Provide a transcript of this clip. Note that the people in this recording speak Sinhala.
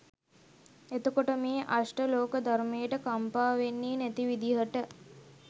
එතකොට මේ අෂ්ඨ ලෝක ධර්මයට කම්පා වෙන්නෙ නැති විදිහට